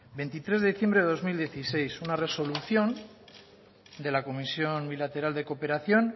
veintitres de diciembre de dos mil dieciséis una resolución de la comisión bilateral de cooperación